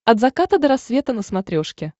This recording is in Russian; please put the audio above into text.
от заката до рассвета на смотрешке